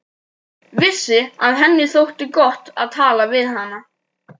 Vissi að henni þótti gott að tala við hana.